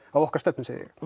okkar stefnu